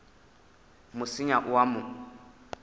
mo senya o a mo